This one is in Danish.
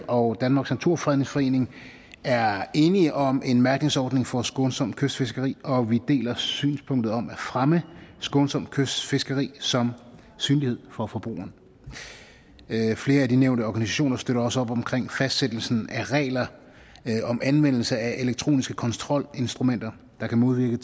og danmarks naturfredningsforening er enige om en mærkningsordning for skånsomt kystfiskeri og vi deler synspunktet om at fremme skånsomt kystfiskeri som synlighed for forbrugerne flere af de nævnte organisationer støtter også op om fastsættelsen af regler om anvendelse af elektroniske kontrolinstrumenter der kan modvirke